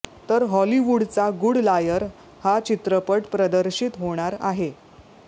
तर हॉलीवूडचा good liar हा चित्रपट प्रदर्शित होणार आहे